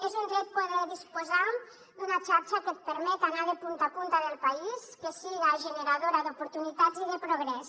és un dret poder disposar d’una xarxa que et permet anar de punta a punta del país que siga generadora d’oportunitats i de progrés